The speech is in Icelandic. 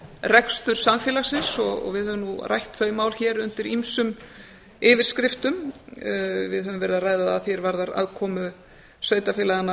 rekstur samfélagsins og við höfum nú rætt þau mál hér undir ýmsum yfirskriftum við höfum verið að ræða það að því er varðar aðkomu sveitarfélaganna